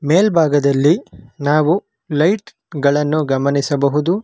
ಮೇಲ್ಭಾಗದಲ್ಲಿ ನಾವು ಲೈಟ್ ಗಳನ್ನು ಗಮನಿಸಬಹುದು.